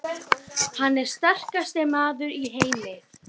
Hann er sterkasti maður í heimi!